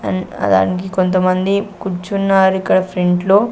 అన్ ఆ దానికి కొంతమంది కుర్చున్నారు ఇక్కడ ఫ్రంట్ లో.